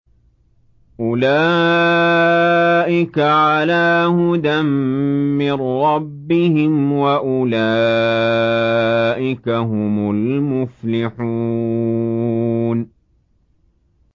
أُولَٰئِكَ عَلَىٰ هُدًى مِّن رَّبِّهِمْ ۖ وَأُولَٰئِكَ هُمُ الْمُفْلِحُونَ